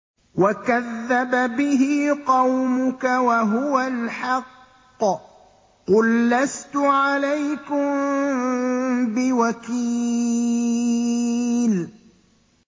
وَكَذَّبَ بِهِ قَوْمُكَ وَهُوَ الْحَقُّ ۚ قُل لَّسْتُ عَلَيْكُم بِوَكِيلٍ